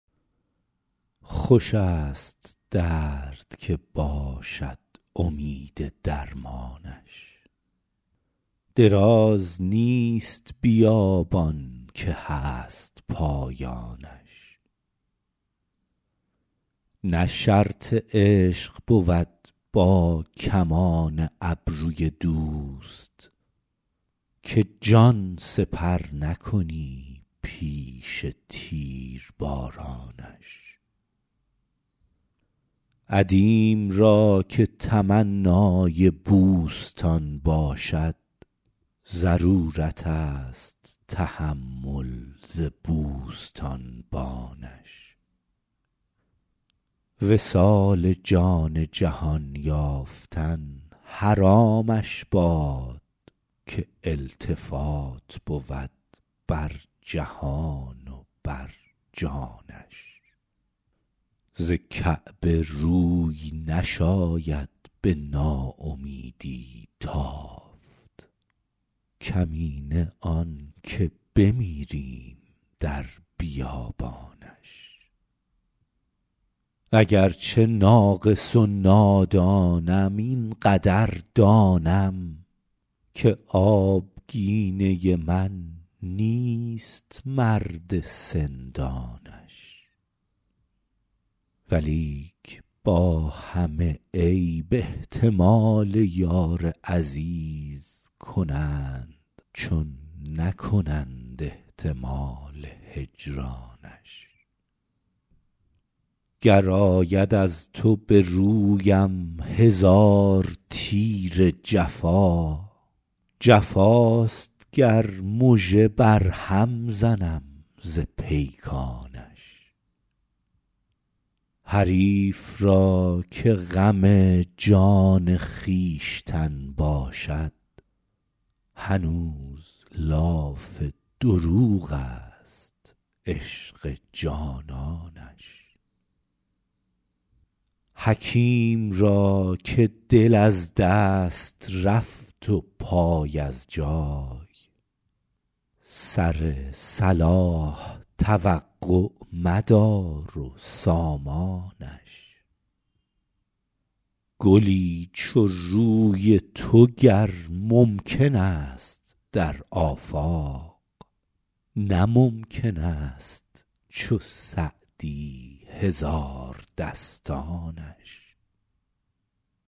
خوش است درد که باشد امید درمانش دراز نیست بیابان که هست پایانش نه شرط عشق بود با کمان ابروی دوست که جان سپر نکنی پیش تیربارانش عدیم را که تمنای بوستان باشد ضرورت است تحمل ز بوستانبانش وصال جان جهان یافتن حرامش باد که التفات بود بر جهان و بر جانش ز کعبه روی نشاید به ناامیدی تافت کمینه آن که بمیریم در بیابانش اگر چه ناقص و نادانم این قدر دانم که آبگینه من نیست مرد سندانش ولیک با همه عیب احتمال یار عزیز کنند چون نکنند احتمال هجرانش گر آید از تو به رویم هزار تیر جفا جفاست گر مژه بر هم زنم ز پیکانش حریف را که غم جان خویشتن باشد هنوز لاف دروغ است عشق جانانش حکیم را که دل از دست رفت و پای از جای سر صلاح توقع مدار و سامانش گلی چو روی تو گر ممکن است در آفاق نه ممکن است چو سعدی هزاردستانش